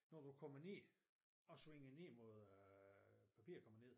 Når du kommer ned og svinger ned mod øh papirkompagniet